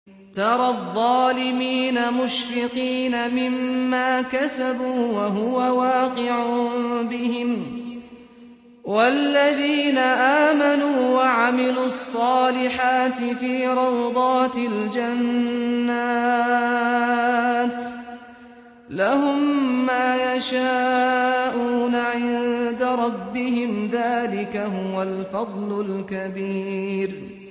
تَرَى الظَّالِمِينَ مُشْفِقِينَ مِمَّا كَسَبُوا وَهُوَ وَاقِعٌ بِهِمْ ۗ وَالَّذِينَ آمَنُوا وَعَمِلُوا الصَّالِحَاتِ فِي رَوْضَاتِ الْجَنَّاتِ ۖ لَهُم مَّا يَشَاءُونَ عِندَ رَبِّهِمْ ۚ ذَٰلِكَ هُوَ الْفَضْلُ الْكَبِيرُ